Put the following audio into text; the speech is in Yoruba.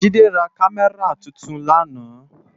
Jide rá Kàmèrá tútún làná